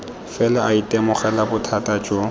fela a itemogela bothata jo